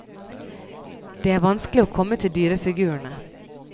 Det er vanskelig å komme til dyrefigurene.